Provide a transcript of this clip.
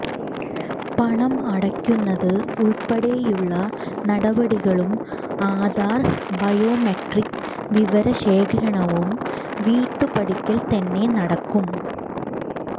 പണം അടക്കുന്നത് ഉൾപ്പടെയുള്ള നടപടികളും ആധാർ ബയോമെട്രിക് വിവര ശേഖരണവും വീട്ടുപടിക്കൽ തന്നെ നടക്കും